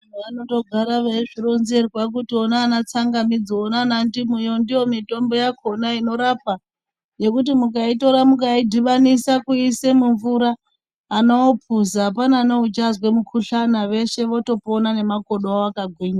Vanotogara veizvironzerwa kuti ona anatsangamidzi ona anandimuwo ndiyo mitombo yakona inorapa yekuti mukaitora mukaidhibanisa kuiise mumvura anoupuza apane neuchazwe mukuhlani veshe votopona nemakodo avo akagwinya.